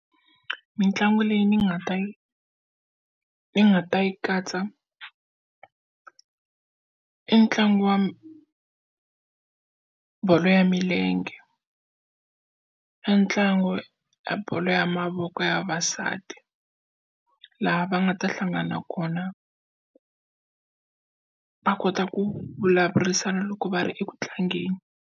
Mitlangu leyi ni nga ta yi ni nga ta yi katsa i ntlangu wa bolo ya milenge i ntlangu wa bolo ya mavoko ya vavasati laha va nga ta hlangana kona va kota ku vulavurisana loko va ri eku tlangeni.